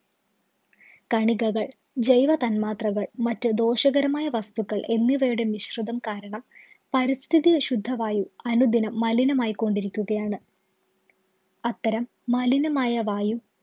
കണികകള്‍, ജൈവ തന്മാത്രകള്‍, മറ്റു ദോഷകരമായ വസ്തുക്കള്‍ എന്നിവയുടെ മിശ്രിതം കാരണം പരിസ്ഥിതിയിലെ ശുദ്ധവായു അനുദിനം മലിനമായി കൊണ്ടിരിക്കുകയാണ്. അത്തരം മലിനമായ വായു